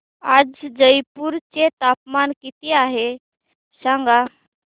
आज जयपूर चे तापमान किती आहे सांगा